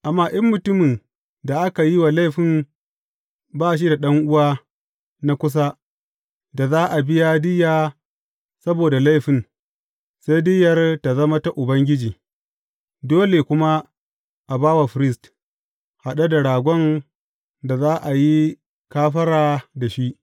Amma in mutumin da aka yi wa laifin ba shi da ɗan’uwa na kusa da za a biya diyya saboda laifin, sai diyyar tă zama ta Ubangiji, dole kuma a ba wa firist, haɗe da ragon da za a yi kafara da shi.